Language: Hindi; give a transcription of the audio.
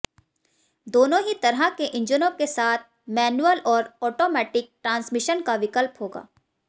दोनों ही तरह के इंजनों के साथ मैन्युअल और ऑटोमैटिक ट्रांसमिशन का विकल्प होगा